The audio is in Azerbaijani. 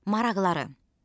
Maraqları.